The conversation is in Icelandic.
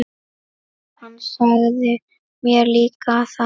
Hann sagði mér líka að